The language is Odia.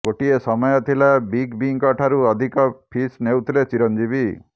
ଗୋଟିଏ ସମୟ ଥିଲା ବିଗ ବିଙ୍କ ଠାରୁ ଅଧିକ ଫିସ୍ ନେଉଥିଲେ ଚିରଞ୍ଜିବୀ